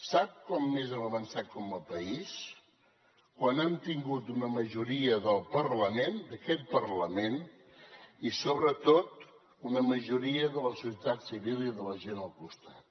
sap quan més hem avançat com a país quan hem tingut una majoria del parlament d’aquest parlament i sobretot una majoria de la societat civil i de la gent al costat